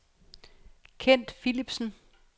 Kent Philipsen